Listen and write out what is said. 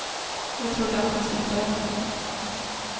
Jag trodde att han skulle döda mig.